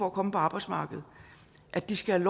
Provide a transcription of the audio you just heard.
at komme på arbejdsmarkedet at de skal